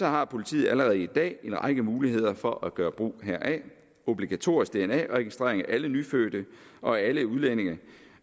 har politiet allerede i dag en række muligheder for at gøre brug heraf obligatorisk dna registrering af alle nyfødte og alle udlændinge